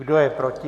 Kdo je proti?